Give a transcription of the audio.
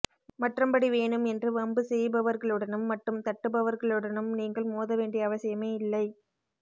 மற்றம்படி வேணும் என்று வம்பு செய்பவர்களுடனும் மட்டும் தட்டுபவர்களுடனும் நீங்கள் மோத வேண்டிய அவசியமே இல்லை